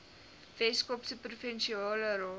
weskaapse provinsiale raad